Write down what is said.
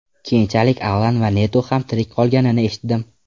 Keyinchalik Alan va Neto ham tirik qolganini eshitdim.